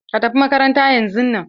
Ka tafi makaranta yan zun nan!